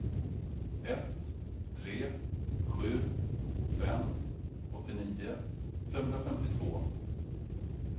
ett tre sju fem åttionio femhundrafemtiotvå